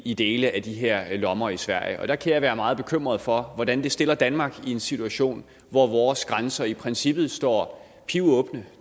i dele af de her lommer i sverige der kan jeg være meget bekymret for hvordan det stiller danmark i en situation hvor vores grænser i princippet står pivåbne